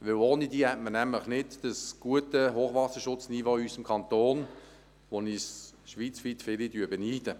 Denn ohne sie hätte man nämlich in unserem Kanton nicht das gute Hochwasserschutzniveau, um das uns schweizweit viele beneiden.